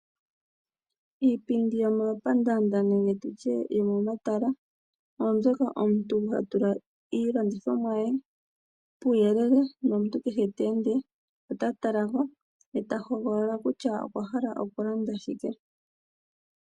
Iipindi yomomapandaanda nenge yomomatala, oombyoka omuntu hotula iilandithomwa yoye puuyelele, nomuntu kehe ta ende ota talako, ye ta hogolola kutya okwahala okulanda shike.